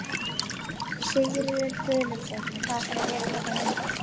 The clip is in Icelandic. Sigríður Guðlaugsdóttir: Hvað ætlarðu að vera hérna lengi?